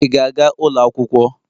Ị ga-aga ụlọ akwụkwọ?.